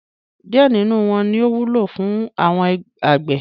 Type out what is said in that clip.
Díẹ̀ nínú wọn ní ó wúlò fún àwọn àgbẹ̀.